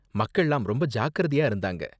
மக்கள்லாம் ரொம்ப ஜாக்கிரதையா இருந்தாங்க.